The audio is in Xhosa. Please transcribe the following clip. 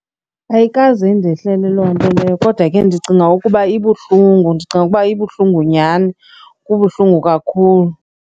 Ayikaze indehlele loo nto leyo kodwa ke ndicinga ukuba ibuhlungu. Ndicinga ukuba ibuhlungu nyhani, kubuhlungu kakhulu.